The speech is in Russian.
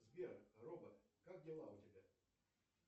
сбер робот как дела у тебя